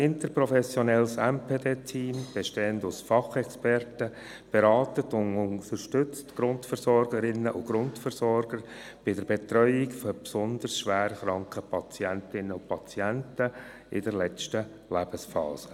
Ein interprofessionelles MPD-Team, bestehend aus Fachexperten, berät und unterstützt die Grundversorgerinnen und Grundversorger bei der Betreuung besonders schwer kranker Patientinnen und Patienten in der letzten Lebensphase.